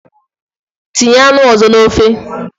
Tinye anụ ozo na ofe!